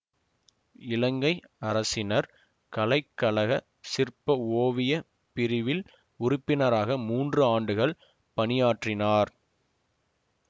இலங்கை அரசினர் கலைக்கழக சிற்ப ஓவியப் பிரிவில் உறுப்பினராக மூன்று ஆண்டுகள் பணியாற்றினார்